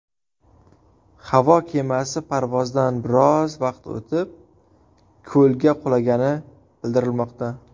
Havo kemasi parvozdan biroz vaqt o‘tib, ko‘lga qulagani bildirilmoqda.